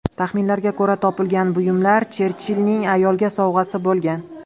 Taxminlarga ko‘ra, topilgan buyumlar Cherchillning ayolga sovg‘asi bo‘lgan.